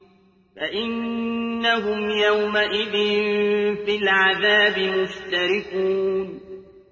فَإِنَّهُمْ يَوْمَئِذٍ فِي الْعَذَابِ مُشْتَرِكُونَ